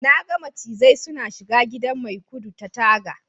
na ga macizai suna shiga gidan maikudu ta taga